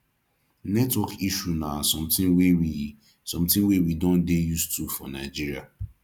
network issue na something wey we something wey we don dey used to for nigeria